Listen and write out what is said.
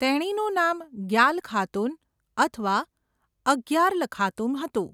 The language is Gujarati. તેણીનું નામ ગ્યાલ ખાતુન અથવા અર્ગ્યાલ ખાતુમ હતું.